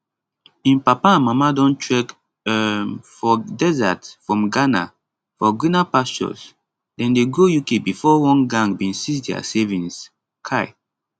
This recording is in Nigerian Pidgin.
im papa and mama don trek um for desert from ghana for greener pastures dem dey go uk bifor one gang bin seize dia savings um